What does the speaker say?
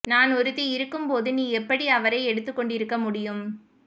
நான் ஒருத்தி இருக்கும்போது நீ எப்படி அவரை எடுத்துக் கொண்டிருக்க முடியும்